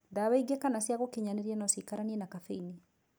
Ndawa ingĩ kana cĩa gũkinyanĩria no cikaranie na caffeini.